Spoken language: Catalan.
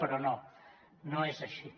però no no és així